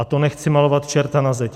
A to nechci malovat čerta na zeď.